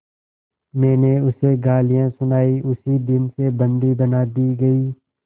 मैंने उसे गालियाँ सुनाई उसी दिन से बंदी बना दी गई